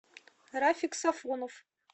рафик сафонов